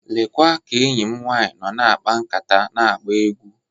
Lekwa ka enyi m nwanyị nọ na-akpa nkata na-agba egwu.